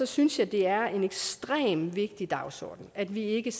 synes jeg det er en ekstremt vigtig dagsorden at vi ikke